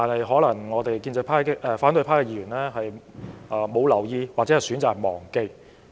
可能反對派議員沒有留意或選擇忘記。